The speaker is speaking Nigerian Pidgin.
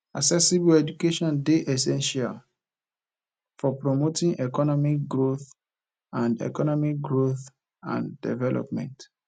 accessible education dey essential for promoting economic growth and economic growth and development